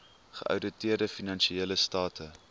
geouditeerde finansiële state